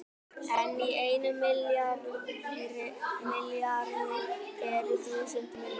En í einum milljarði eru þúsund milljónir!